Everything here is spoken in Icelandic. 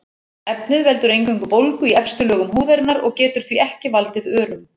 Efnið veldur eingöngu bólgu í efstu lögum húðarinnar og getur því ekki valdið örum.